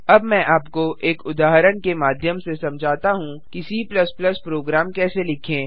अब मैं आपको एक उदाहरण के माध्यम से समझाता हूँ कि C प्रोग्राम कैसे लिखें